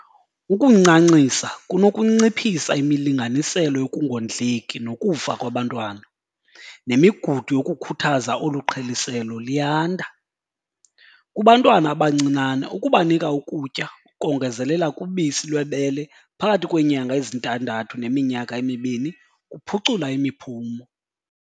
Ukuncancisa kunokunciphisa imilinganiselo yokungondleki nokufa kwabantwana, nemigudu yokukhuthaza olu qheliselo liyanda. Kubantwana abancinane ukubanika ukutya ukongezelela kubisi lwebele phakathi kweenyanga ezintandathu neminyaka emibini kuphucula imiphumo.